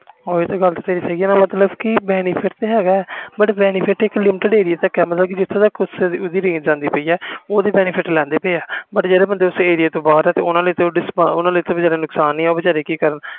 ਓਹੀ ਤੇ ਗੱਲ ਤੇਰੀ ਸਹੀ ਆ ਮਤਬਲ ਕਿ benefit ਤੇ ਹੈ ਗਾ benefit ਇਕ limted ਏਰੀਆ ਤਕ ਜਿਥੋਂ ਤਕ ਉਸ ਦੀ ਰੇਜ਼ ਐਂਡੀ ਪੈ ਏ ਉਹ ਤੇ benefit ਲੈਂਦੇ ਪਏ ਆ ਜਿਹੜੇ ਬੰਦੇ ਉਸ ਏਰੀਆ ਤੋਂ ਬਹਾਰ ਆ ਓਹਨਾ ਲਈ ਤਾ ਨੁਕਸਾਨ ਹੀ ਆ